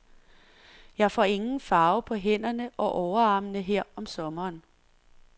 Jeg får ingen farve på hænderne og overarmene her om sommeren.